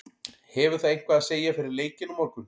Hefur það eitthvað að segja fyrir leikinn á morgun?